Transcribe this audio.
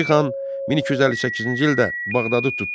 Hülakü xan 1258-ci ildə Bağdadı tutdu.